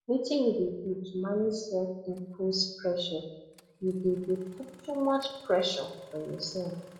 wetin you dey do to manage selfimposed pressure you dey dey put too much pressure on yourself